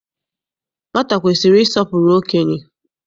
Nwata kwesiri ịsọpụrụ okenye.